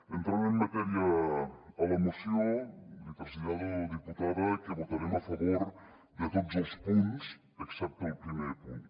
entrant en matèria a la moció li trasllado diputada que votarem a favor de tots els punts excepte del primer punt